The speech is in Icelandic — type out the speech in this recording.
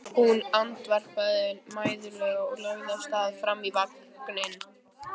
Hún andvarpaði mæðulega og lagði af stað fram í vagninn.